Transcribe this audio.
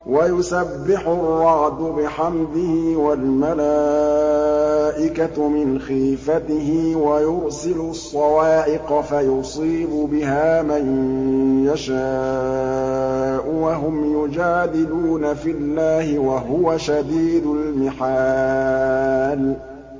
وَيُسَبِّحُ الرَّعْدُ بِحَمْدِهِ وَالْمَلَائِكَةُ مِنْ خِيفَتِهِ وَيُرْسِلُ الصَّوَاعِقَ فَيُصِيبُ بِهَا مَن يَشَاءُ وَهُمْ يُجَادِلُونَ فِي اللَّهِ وَهُوَ شَدِيدُ الْمِحَالِ